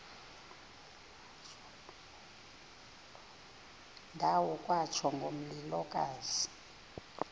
ndawo kwatsho ngomlilokazi